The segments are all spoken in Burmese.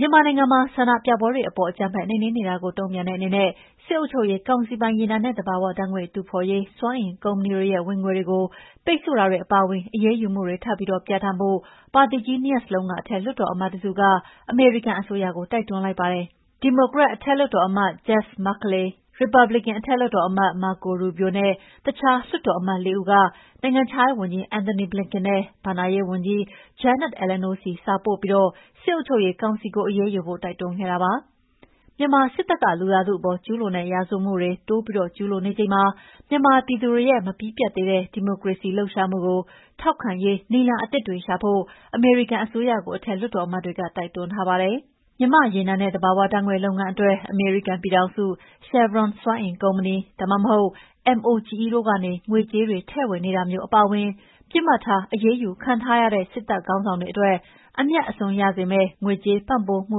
မြန်မာနိုင်ငံမှာ ဆန္ဒပြပွဲတွေအပေါ် အကြမ်းဖက်နှိမ်နင်းနေတာတွေကို တုံ့ပြန်တဲ့အနေနဲ့ စစ်အုပ်ချုပ်ရေး ကောင်စီပိုင် ရေနံနဲ့ သဘောဝဓါတ်ငွေ့ တူးဖေါ်ရေး စွမ်းအင် ကုမ္ပဏီတွေရဲ့ ဝင်ငွေကို ပိတ်ဆို့တာတွေ အပါအဝင် အရေးယူမှုတွေ ထပ်ပြီး ပြဌာန်းဖို့ ပါတီကြီးနှစ်ရပ်စလုံးက အထက်လွှတ်တော် အမတ် တစုက အမေရိကန် အစိုးရကို တိုက်တွန်းလိုက်ပါတယ်။ ဒီမိုကရက် အထက်လွှတ်တော်အမတ် Jeff Merkley ရီပတ်ဘလစ်ကန် အထက်လွှတ်တော်အမတ် Marco Rubio နဲ့ တခြား လွှတ်တော်အမတ် ၄ ဦးက နိုင်ငံခြားရေး ဝန်ကြီး Antony Blinken နဲ့ ဘဏ္ဍာရေး ဝန်ကြီး Janet Yellen တို့ဆီ စာပို့ပြီး စစ်အုပ်ချုပ်ရေးကောင်စီကို အရေးယူဖို့ တိုက်တွန်းခဲ့တာပါ။ မြန်မာစစ်တပ်က လူသားထုအပေါ် ကျုးလွန်တဲ့ ရာဇဝတ်မှုတွေ တိုးပြီး ကျုးလွန်နေချိန်မှာ မြန်မာပြည်သူတွေရဲ့ မပြီးပြတ်သေးတဲ့ ဒီမိုကရေစီလှုပ်ရှားမှုကို ထောက်ခံရေး နည်းလမ်း အသစ်တွေ ရှာဖွေဖို့ အမေရိကန် အစိုးရကို အထက်လွှတ်တော် အမတ်တွေက တိုက်တွန်းထားပါတယ်။ မြန်မာ့ ရေနံနဲ့ သဘော၀ ဓါတ်ငွေ့ လုပ်ငန်းအတွက် အမေရိကန် ပြည်ထောင်စု Chevron စွမ်းအင်ကုမ္ပဏီ၊ ဒါမှမဟုတ် MOGE တို့ကနေ ငွေကြေးတွေ ထည့်ဝင် နေတာမျိုး အပါအဝင်၊ ပစ်မှတ်ထား အရေးယူခံထားရတဲ့ စစ်တပ်ခေါင်းဆောင်တွေ အတွက် အမြတ် အစွန်းရစေမယ့် ငွေကြေးပံ့ပိုးမှု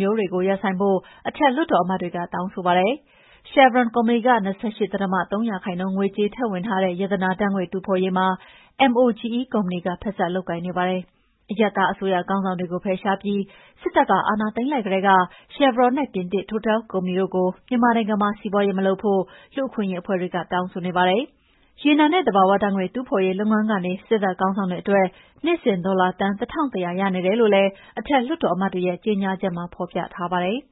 မျိုးတွေ ရပ်ဆိုင်းဖို့ အထက်လွှတ်တော်အမတ်တွေက တောင်းဆိုပါတယ်။ Chevron ကုမ္ပဏီက ၂၈ ဒသမ ၃ ရာခိုင်နှုန်း ငွေကြေးထည့်ဝင်ထားတဲ့ ရတနာ ဓါတ်ငွေ့တူးဖေါ်ရေးမှာ MOGE ကုမ္ပဏီက ဖက်စပ် လုပ်ကိုင်နေပါတယ်။ အရပ်သား အစိုးရခေါင်းဆောင်တွေကို ဖယ်ရှားပြီး စစ်တပ်က အာဏာသိမ်းလိုက်ကတည်းက Chevron နဲ့ ပြင်သစ် Total ကုမ္ပဏီတို့ကို မြန်မာနိုင်ငံမှာ စီးပွားရေး မလုပ်ဖို့ လူ့အခွင့်အရေးအဖွဲ့တွေက တောင်းဆိုနေပါတယ်။ ရေနံနဲ့ သဘာ၀ ဓါတ်ငွေ့ တူးဖေါ်ရေးလုပ်ငန်းကနေ စစ်တပ်ခေါင်းဆောင်တွေအတွက် နှစ်စဉ် ဒေါ်လာ သန်း ၁,၁၀၀ ရနေတယ်လို့လည်း အထက် လွှတ်တော်အမတ်တွေရဲ့ ကြေညာချက်မှာ ဖော်ပြထားပါတယ်။